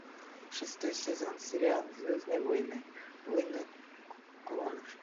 шестой сезон сериал звездные войны войны клонов